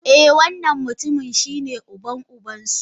Eh wannan mutumin shine uban uban su.